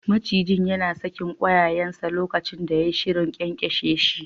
Macijin yana sakin ƙwayayensa lokacin da yai shirin ƙyanƙyashe shi.